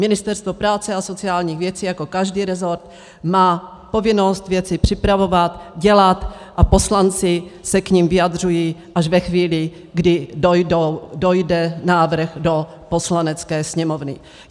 Ministerstvo práce a sociálních věcí jako každý resort má povinnost věci připravovat, dělat a poslanci se k nim vyjadřují až ve chvíli, kdy dojde návrh do Poslanecké sněmovny.